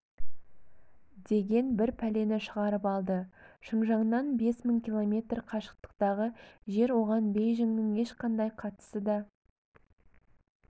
деген бір пәлені шығарып алды шыңжаннан бес мың километр қашықтықтағы жер оған бейжіңнің ешқанадй қатысыда